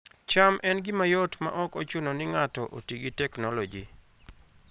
cham en gima yot maok ochuno ni ng'ato oti gi teknoloji